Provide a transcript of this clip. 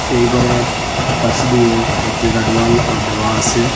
এই ঘরের পাশ দিয়ে একটি গাডওয়ালও দেওয়া আসে।